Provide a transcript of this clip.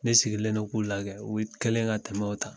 Ne sigilen do k'u lajɛ u kɛlen do ka tɛmɛw ta